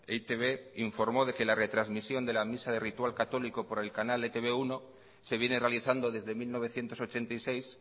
e i te be informó de que la retransmisión de la misa de ritual católico por el canal e te be uno se viene realizando desde mil novecientos ochenta y seis